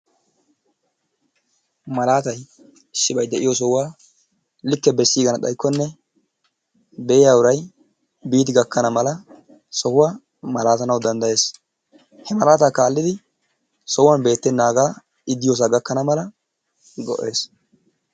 Malattay issibay de'iyoo sohuwaa like besiganna xayikonne be'iyaa urayi biddi gaakkana mala sohuwaa malatanawu dandayees, he malattaa kaliddi sohuwan bettenagaa ideiyosaa gakannaa malaa maddes.